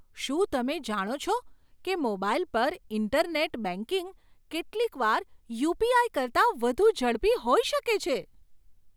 શું તમે જાણો છો કે મોબાઈલ પર ઈન્ટરનેટ બેંકિંગ કેટલીકવાર યુપીઆઈ કરતાં વધુ ઝડપી હોઈ શકે છે?